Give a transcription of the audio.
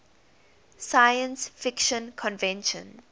science fiction convention